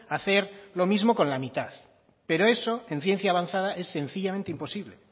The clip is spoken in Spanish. hacer lo mismo con la mitad pero eso en ciencia avanzada es sencillamente imposible